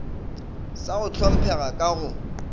sa go hlomphega ka go